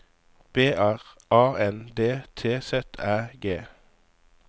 B R A N D T Z Æ G